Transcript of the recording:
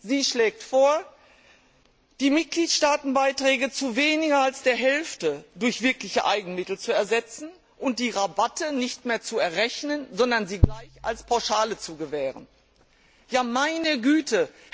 Sie schlägt vor, die Mitgliedstaatenbeiträge zu weniger als der Hälfte durch wirkliche Eigenmittel zu ersetzen, und die Rabatte nicht mehr zu errechnen, sondern sie gleich als Pauschale zu gewähren. Ja, meine Güte!